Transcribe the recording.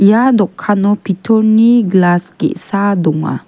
ia dokano pitorni glas ge·sa donga.